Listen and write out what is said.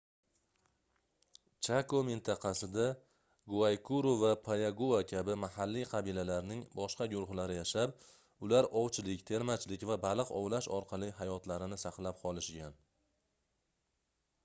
chako mintaqasida guaykuru va payagua kabi mahalliy qabilalarning boshqa guruhlari yashab ular ovchilik termachilik va baliq ovlash orqali hayotlarini saqlab qolishgan